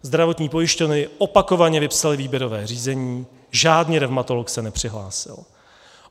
Zdravotní pojišťovny opakovaně vypsaly výběrové řízení, žádný revmatolog se nepřihlásil.